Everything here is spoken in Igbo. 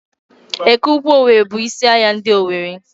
Ekeukwu owerri bụ isi ahịa ndị owerri